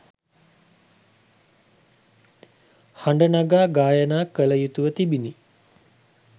හඬ නගා ගායනා කළ යුතුව තිබිණි.